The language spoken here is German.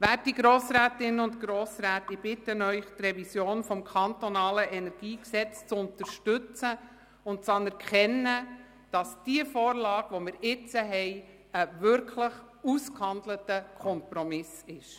Werte Grossrätinnen und Grossräte, ich bitte Sie, die Revision des KEnG zu unterstützen und anzuerkennen, dass die jetzige Vorlage ein wirklich ausgehandelter Kompromiss ist.